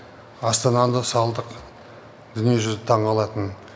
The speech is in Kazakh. астананы салдық дүниежүзі таңқалатын